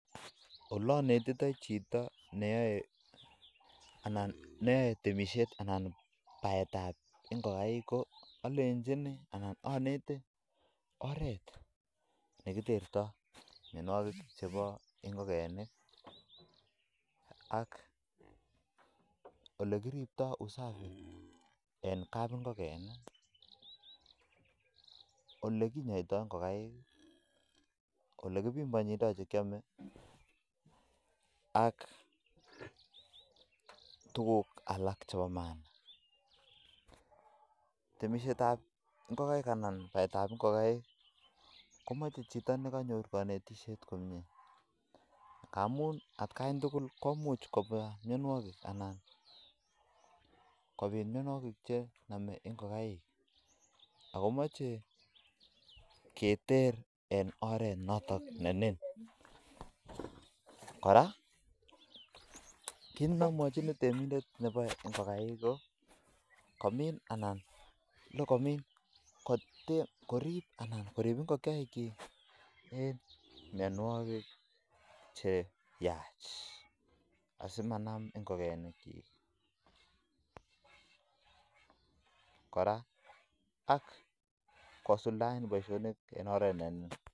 Olanetitei chito neyoeon temisiet anan ko baet ab ngokekeinik alenjini anan aneti oret nekitertoi oret nekiboei anan ko usafi nebo ngokenik ako ribset anan ko temisiet ab ngokenik ko kerib kekirinda myanwokik akomeche keter eng saishek alak tugul keter simanam ngokenik tugul